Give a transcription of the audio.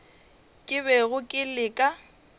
ke bego ke le ka